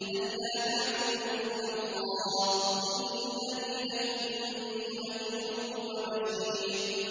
أَلَّا تَعْبُدُوا إِلَّا اللَّهَ ۚ إِنَّنِي لَكُم مِّنْهُ نَذِيرٌ وَبَشِيرٌ